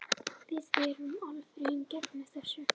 Við erum alfarið gegn þessu.